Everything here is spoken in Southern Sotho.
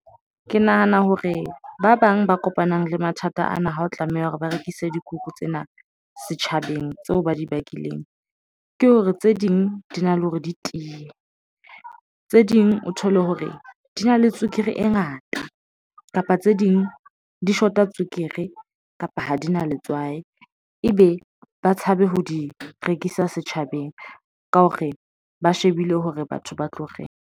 Ke nahana hore ba bang ba kopanang le mathata ana ha o tlameha hore ba rekise dikuku tsena setjhabeng tseo ba di bakileng, ke hore tse ding di na le hore di tiye tse ding o thole hore di na le tswekere e ngata kapa tse ding di shota tswekere kapa ha di na letswai ebe ba tshabe ho di rekisa setjhabeng ka hore ba shebile hore batho ba tlo reng.